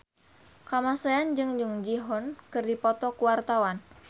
Kamasean jeung Jung Ji Hoon keur dipoto ku wartawan